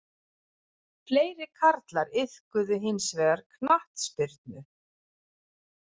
Fleiri karlar iðkuðu hins vegar knattspyrnu